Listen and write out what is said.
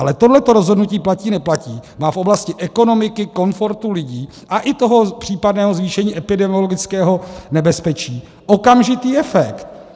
Ale tohle rozhodnutí platí-neplatí má v oblasti ekonomiky, komfortu lidí a i toho případného zvýšení epidemiologického nebezpečí okamžitý efekt.